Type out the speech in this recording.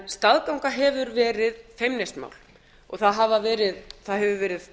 staðganga hefur verið feimnismál og það hefur verið